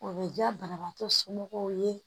O bɛ diya banabaatɔ somɔgɔw ye